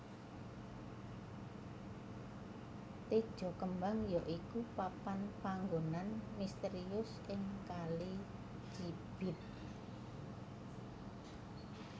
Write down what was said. Tejakembang ya iku papan panggonan misterius ing Kali Cibeet